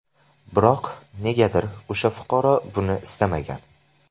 Biroq, negadir o‘sha fuqaro buni istamagan.